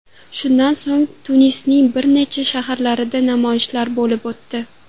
Shundan so‘ng Tunisning bir necha shaharlarida namoyishlar bo‘lib o‘tdi.